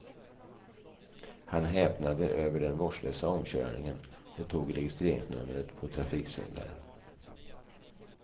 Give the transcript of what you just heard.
Han häpnade över den vårdslösa omkörningen och tog registreringsnumret på trafiksyndaren.